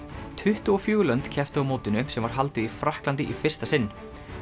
tuttugu og fjögur lönd kepptu á mótinu sem var haldið í Frakklandi í fyrsta sinn